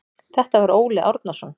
Þetta var Óli Árnason.